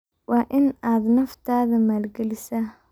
Waa in aad naftaada maalgelisaa?